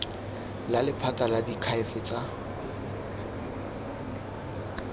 la lephata la diakhaefe tsa